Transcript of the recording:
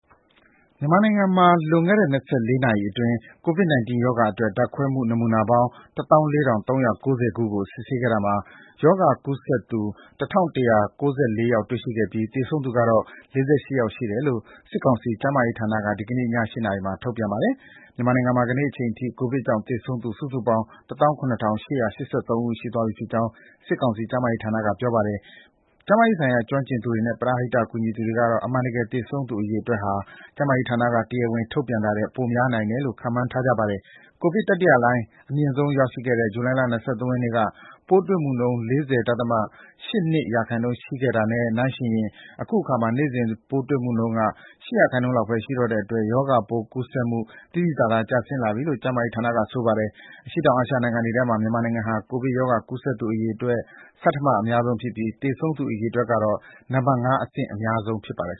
မြန်မာနိုင်ငံမှာ လွန်ခဲ့တဲ့ ၂၄ နာရီအတွင်း COVID-19 ရောဂါအတွက် ဓာတ်ခွဲနမူနာပေါင်း ၁၄,၃၉၀ ခုကို စစ်ဆေးခဲ့တာမှာ ရောဂါကူးစက်သူ ၁,၁၉၄ ယောက် တွေ့ရှိခဲ့ပြီး သေဆုံးသူကတော့ ၄၈ ယောက်ရှိတယ်လို့ စစ်ကောင်စီ ကျန်းမာရေးဌာနက ဒီကနေ့ည ၈ နာရီ ထုတ်ပြန်ပါတယ်။ မြန်မာနိုင်ငံမှာ ဒီနေ့အချိန်ထိ ကိုဗစ်ကြောင့် သေဆုံးသူ စုစုပေါင်း ၁၇,၈၈၃ ဦး ရှိသွားပြီဖြစ်ကြောင်း စစ်ကောင်စီ ကျန်းမာရေးဌာနက ပြောပါတယ်။ ကျန်းမာရေးဆိုင်ရာ ကျွမ်းကျင်သူတွေနဲ့ ပရဟိတ ကူညီသူတွေကတော့ အမှန်တကယ် သေဆုံးသူ အရေအတွက်ဟာ ကျန်းမာရေးဌာနက တရားဝင်ထုတ်ပြန်တာထက် ပိုများနိုင်တယ်လို့ ခန့်မှန်းထားကြပါတယ်။ ကိုဗစ်တတိယလှိုင်း အမြင့်ဆုံးရောက်ခဲ့တဲ့ ဇူလိုင်လ ၂၃ ရက်နေ့က ပိုးတွေ့မှုနှုန်း ၄၀ ဒသမ ၈၂ ရာခိုင်နှုန်း ရှိခဲ့တာနဲ့ နှိုင်းယှဉ်ရင် အခုအခါမှာ နေ့စဉ် ပိုးတွေ့မှုနှုန်း ၈ ရာခိုင်နှုန်းလောက်ပဲ ရှိတော့တဲ့အတွက် ရောဂါကူးစက်မှု သိသိသာသာ ကျလာပြီလို့ ကျန်းမာရေးဌာနက ဆိုပါတယ်။ အရှေ့တောင်အာရှနိုင်ငံတွေထဲမှာ မြန်မာနိုင်ငံဟာ ကိုဗစ်ရောဂါ ကူးစက်သူ အရေအတွက် ဆဋ္ဌမအများဆုံးဖြစ်ပြီး သေဆုံးသူ အရေအတွက်ကတော့ နံပါတ် ၅ အဆင့် အများဆုံးဖြစ်ပါတယ်